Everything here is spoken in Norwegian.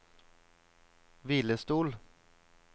hvilestol